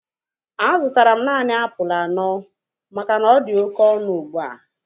A zụtara m naanị apụl anọ maka na ọdi oké ọnụ ugbua